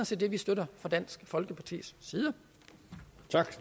set det vi støtter fra dansk folkepartis